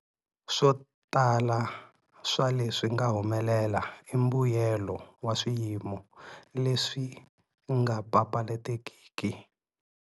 Swo tala swa leswi nga humelela i mbuyelo wa swiyimo leswi nga papalatekiki.